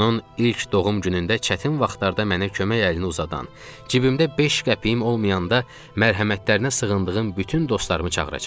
Onun ilk doğum günündə çətin vaxtlarda mənə kömək əlini uzadan, cibimdə beş qəpiyim olmayanda mərhəmətlərinə sığındığım bütün dostlarımı çağıracam.